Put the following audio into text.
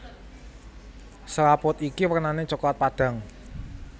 Selaput iki wernané coklat padhang